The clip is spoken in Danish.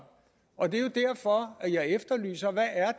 og det er jo derfor at jeg efterlyser hvad